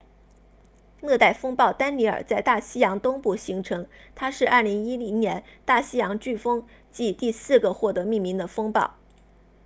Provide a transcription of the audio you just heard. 热带风暴丹妮尔在大西洋东部形成它是2010年大西洋飓风季第四个获得命名的风暴